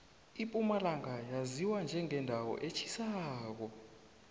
impumalanga yaziwa njengendawo etjhisako